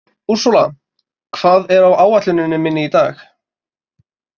Úrsúla, hvað er á áætluninni minni í dag?